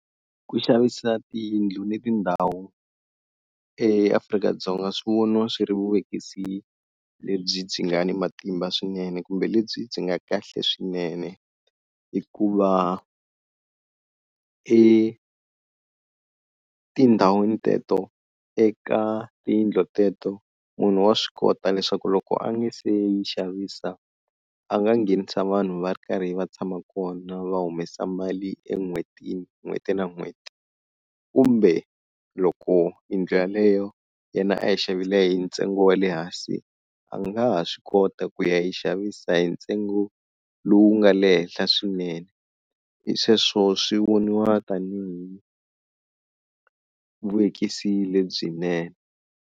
Ku xavisa tiyindlu ni tindhawu eAfrika-Dzonga swi voniwa swi ri vuvekisi lebyi byi nga ni matimba swinene kumbe lebyi byi nga kahle swinene hikuva etindhawini teto eka tiyindlo teto munhu wa swi kota leswaku loko a nga se yi xavisa a nga nghenisa vanhu va ri karhi va tshama kona va humesa mali en'hwetini n'hweti na n'hweti kumbe loko yindlu yaleyo yena a yi xavile hi ntsengo wa le hansi a nga ha swi kota ku ya yi xavisa hi ntsengo lowu nga le henhla swinene, hi sweswo swi voniwa tanihi vuvekisi lebyinene.